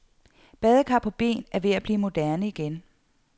Badekar på ben er ved at blive moderne igen.